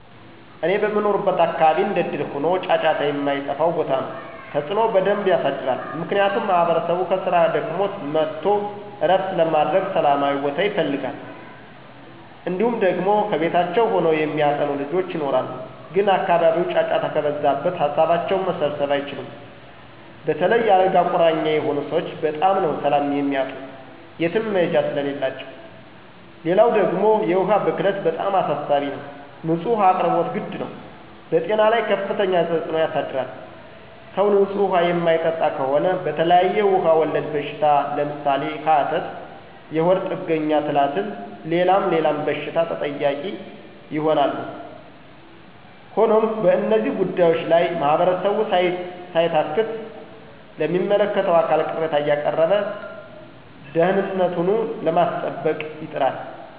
እኔ በምኖርበት አካባቢ እንደእድል ሆኖ ጫጫታ የማይጠፍው ቦታ ነው። ተፅዕኖ በደንብ የሳድራል። ምክንያቱም ማህበረሰቡ ከስራ ደክሞት መጥቶ ዕረፍት ለማድረግ ሠላማዊ ቦታ ይፈልጋል። እንዲሁም ደግሞ ከቤታቸው ሆነው የሚያጠኑ ልጆች ይኖራሉ ግን አካባቢው ጫጫታ ከበዛበት ሀሳባቸውን መሰብሰብ አይችሉም. በተለይ የ አልጋ ቁራኛ የሆኑ ሰወች በጣም ነው ሰላም የሚያጡ የትም መሄጃ ስለሌላቸው። ሌላው ደግሞ የውሀ ብክለት በጣም አሳሳቢ ነው። ንፁህ ውሀ አቅርቦት ግድ ነው። በጤና ላይ ከፍተኛ ተፅዕኖ ያሳድራል .ሰው ንፁህ ውሀ የማይጠጣ ከሆነ በተለያዬ ውሀ ወለድ በሽታ ለምሳሌ፦ ሀተት፣ የሆድ ጥገኛ ትላትል ሌላም ሌላም በሽታ ተጠቂ ይሆናሉ። ሆኖም በእነዚህ ጉዳዮች ላይ ማህበረሰቡ ሳይታክት ለሚመለከተው አካል ቅሬታ አያቀረበ ደህንነቱኑ ለማስጠበቅ ይጥራል።